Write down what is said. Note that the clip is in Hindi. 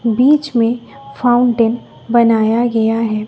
बीच में फाउंटेन बनाया गया है।